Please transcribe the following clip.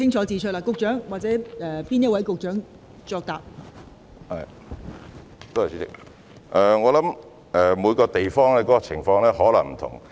代理主席，我想每個地方的情況或有不同。